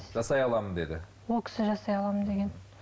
жасай аламын деді ол кісі жасай аламын деген